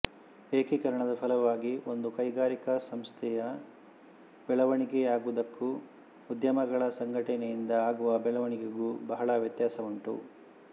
ಏಕೀಕರಣದ ಫಲವಾಗಿ ಒಂದು ಕೈಗಾರಿಕಾ ಸಂಸ್ಥೆಯ ಬೆಳೆವಣಿಗೆಯಾಗುವುದಕ್ಕೂ ಉದ್ಯಮಗಳ ಸಂಘಟನೆಯಿಂದ ಆಗುವ ಬೆಳವಣಿಗೆಗೂ ಬಹಳ ವ್ಯತ್ಯಾಸವುಂಟು